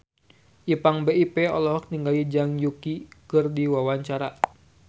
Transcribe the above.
Ipank BIP olohok ningali Zhang Yuqi keur diwawancara